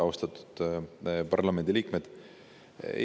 Austatud parlamendiliikmed!